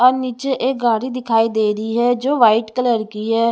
और नीचे एक गाड़ी दिखाई दे रही है जो व्हाइट कलर की है।